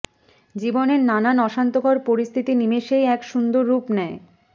জীবনের নানান অশান্তকর পরিস্থিতি নিমেষেই এক সুন্দর রূপ নেয়